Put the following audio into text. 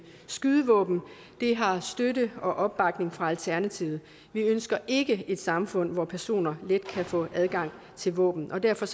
skydevåben har støtte og opbakning fra alternativet vi ønsker ikke et samfund hvor personer let kan få adgang til våben og derfor